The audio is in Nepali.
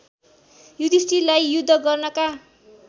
युधिष्ठिरलाई युद्ध गर्नका